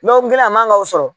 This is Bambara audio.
a man ka o sɔrɔ.